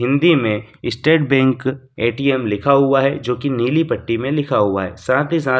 हिंदी में State Bank ATM लिखा हुआ है जो कि नीली पट्टी में लिखा हुआ है साथ ही साथ--